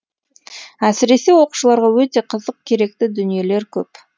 әсіресе оқушыларға өте қызық керекті дүниелер көп